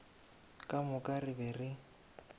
ka moka re be re